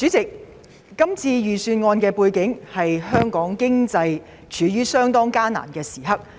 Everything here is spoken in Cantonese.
主席，這份財政預算案發表時，香港經濟正正處於艱難時刻。